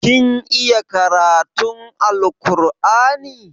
Kin iya karatun Alkur'ani?